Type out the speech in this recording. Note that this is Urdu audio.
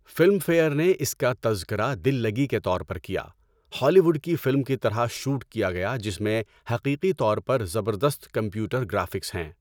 فلم فیئر نے اس کا تذکرہ دل لگی کے طور پر کیا، ہالی ووڈ کی فلم کی طرح شوٹ کیا گیا جس میں حقیقی طور پر زبردست کمپیوٹر گرافکس ہیں۔